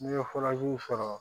N'i ye sɔrɔ